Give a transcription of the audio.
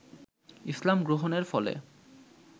ইসলাম গ্রহণের ফলে